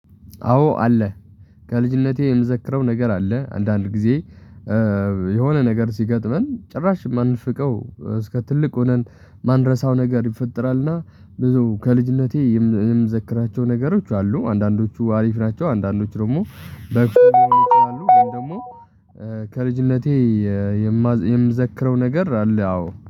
አዎ አለ። ከልጅነቴ የምዘክረው ነገር አለ አንዳንድ ጊዜ የሆነ ነገር ሲገጥመን ጭራሽ የማንፍቀው እስከ ትልቅ ሆነን ማንረሳው ነገር ይፈጠራልና። ብዙ ከልጅነቴ የምዘክራቸው ነገሮች አሉ አንዳንዶቹ አሪፍ ናቸው። አንዳንዶች ደግሞ በእኩል የሆኑት አሉ ግን ደግሞ ከልጅነቴ የምዘክረው ነገር አለ። አዎ